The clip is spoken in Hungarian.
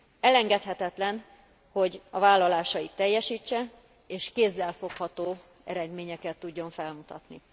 Elengedhetetlen, hogy a vállalásait teljesítse, és kézzelfogható eredményeket tudjon felmutatni.